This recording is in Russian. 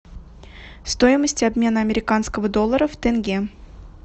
стоимость обмена американского доллара в тенге